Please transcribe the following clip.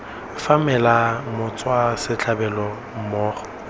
fa fela motswa setlhabelo mmogo